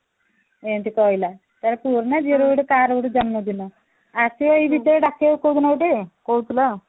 ଏଇନ୍ତି କହିଲା ତା ପୁଅର ନା ଝିଅର କାହାର ଗୋଟେ ଜନ୍ମ ଦିନ ଆଉ ସେ ଡାକିବ କୋଉ ଦିନ ଗୋଟେ କହୁଥିଲା